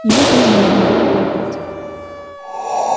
ему тоже нужно было болтать